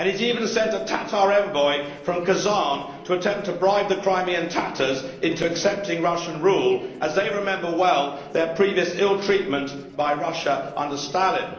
He has even sent a Tatar envoy from Kazan to attempt to bribe the Crimean Tatars into accepting Russian rule, as they remember well their previous ill treatment by Russia under Stalin.